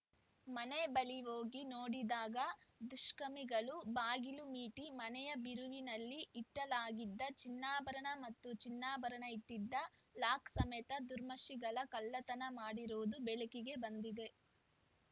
ಮನೆ ಬಳಿ ಹೋಗಿ ನೋಡಿದಾಗ ದುಷಕಮಿಗಳ ಬಾಗಿಲು ಮೀಟಿ ಮನೆಯ ಬೀರುವಿನಲ್ಲಿ ಇಟಲಾಗಿದ್ದ ಚಿನ್ನಾಭರಣ ಹಾಗೂ ಚಿನ್ನಾಭರಣ ಇಟ್ಟಿದ್ದ ಲಾಕ್ ಸಮೇತ ದುರ್ಮಶಿಗಳ ಕಳ್ಳತನ ಮಾಡಿರುವುದು ಬೆಳಕಿಗೆ ಬಂದಿದೆ